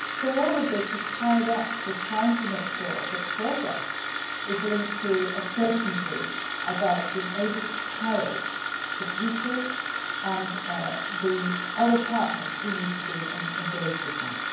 both. So all of this is tied up with trying to make sure that progress is linked to a certainty about being able to carry the people and the other partners who need to be engaged with